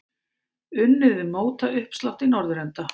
Unnið við mótauppslátt í norðurenda.